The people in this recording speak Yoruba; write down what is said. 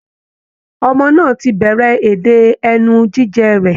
Ọmọ náà ti bẹ̀rẹ̀ èdè ẹnu jíjẹ rẹ̀